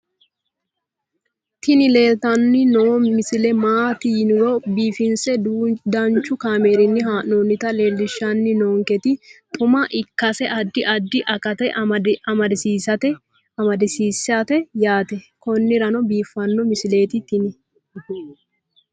tini leeltanni noo misile maaati yiniro biifinse danchu kaamerinni haa'noonnita leellishshanni nonketi xuma ikkase addi addi akata amadaseeti yaate konnira biiffanno misileeti tini